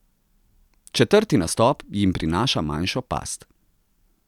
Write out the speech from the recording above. Četrti nastop jim prinaša manjšo past.